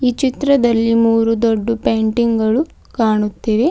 ಚಿತ್ರದಲ್ಲಿ ಮೂರು ದೊಡ್ಡ ಪೇಂಟಿಂಗ್ ಗಳು ಕಾಣುತ್ತಿವೆ.